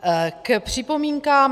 K připomínkám.